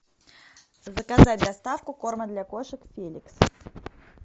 заказать доставку корма для кошек феликс